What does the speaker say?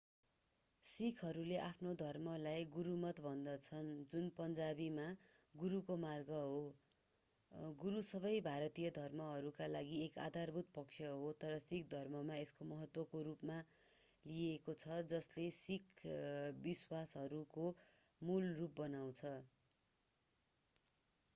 सिखहरूले आफ्नो धर्मलाई गुरमत भन्दछन् जुन पन्जावीमा गुरुको मार्ग हो गुरु सबै भारतीय धर्महरूका लागि एक आधारभूत पक्ष हो तर सिख धर्ममा एक महत्त्वको रूपमा लिइएको छ जसले सिख विश्वासहरूको मूल रूप बनाउँछ